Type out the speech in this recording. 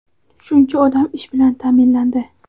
shuncha odam ish bilan ta’minlandi.